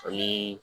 Ani